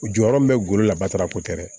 U jɔyɔrɔ min bɛ ggolo labatora poto tɛ dɛ